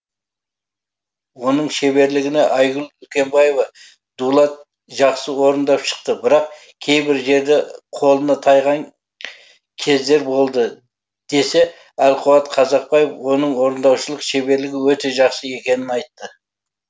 оның шеберлігіне айгүл үлкенбаева дулат жақсы орындап шықты бірақ кейбір жерде қолына тайған кездер болды десе әлқуат қазақбаев оның орындаушылық шеберлігі өте жақсы екенін айтты